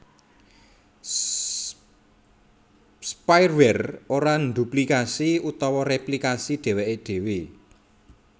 Spiware ora ndhuplikasi utawa réplikasi dhèwèké dhéwé